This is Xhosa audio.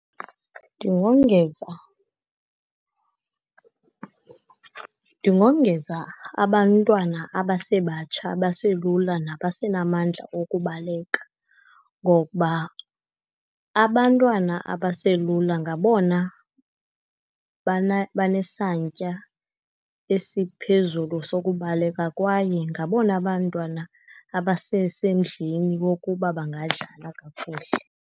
Ndingongeza. Ndingongeza abantwana abasebatsha, abaselula nabasenamandla okubaleka, ngokuba abantwana abaselula ngabona banesantya esiphezulu sokubaleka, kwaye ngabona bantwana abasesemdleni wokuba bangadlala kakuhle.